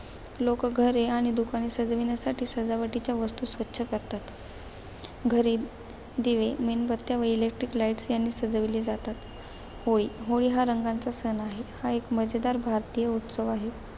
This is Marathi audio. लोक घरे आणि दुकाने सजवण्यासाठी, सजावटीच्या वस्तू स्वच्छ करतात. घरे दिवे, मेणबत्त्या व electric lights यांनी सजविली जातात. होळी, होळी हा रंगांचा सण आहे. हा एक मजेदार भारतीय उत्सव आहे.